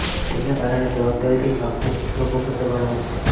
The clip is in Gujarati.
તેને કારણે જવાબદારીથી ભાગતા શિક્ષકો પર દબાણ વધશે